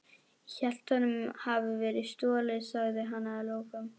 Ég hélt honum hefði verið stolið sagði hann að lokum.